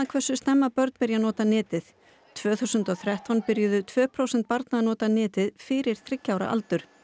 hversu snemma börn byrja að nota netið tvö þúsund og þrettán byrjuðu tvö prósent barna að nota netið fyrir þriggja ára aldur